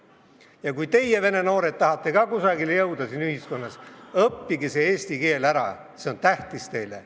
Ja kui teie, vene noored, tahate ka kusagile jõuda siin ühiskonnas, õppige eesti keel ära, see on tähtis.